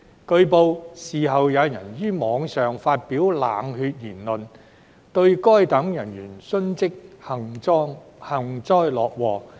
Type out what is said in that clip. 據報，事後有人於網上發表冷血言論，對該等人員殉職幸災樂禍。